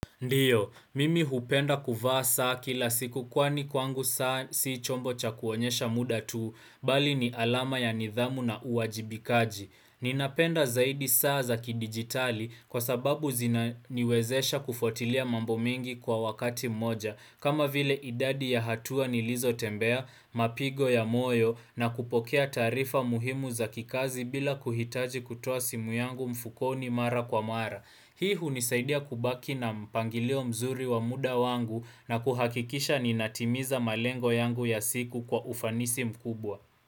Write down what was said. Ndiyo, mimi hupenda kuvaa saa kila siku kwani kwangu saa sii chombo cha kuonyesha muda tuu, bali ni alama ya nidhamu na uwajibikaji. Ninapenda zaidi saa za ki digitali kwa sababu zina niwezesha kufuatilia mambo mengi kwa wakati mmoja, kama vile idadi ya hatua ni lizo tembea, mapigo ya moyo na kupokea taarifa muhimu za kikazi bila kuhitaji kutoa simu yangu mfukoni mara kwa mara. Hii hunisaidia kubaki na mpangilio mzuri wa muda wangu na kuhakikisha ninatimiza malengo yangu ya siku kwa ufanisi mkubwa.